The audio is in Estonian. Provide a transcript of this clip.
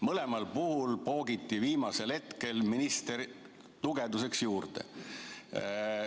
Mõlemal juhul poogiti viimasel hetkel minister tugevduseks juurde.